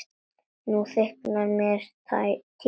Nú þykir mér týra!